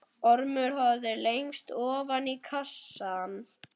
Ormur horfði lengi ofan í kassann.